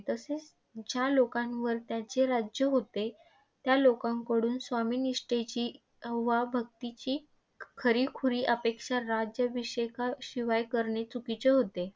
तसेच ज्या लोकांवर त्यांचे राज्य होते, त्या लोकांकडुन स्वामी निष्ठेची वा भक्तीची खरीखुरी अपेक्षा राज्याभिषेकाशिवाय करणे चुकीचे होते.